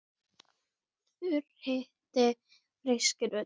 Þurr hiti feyskir ull.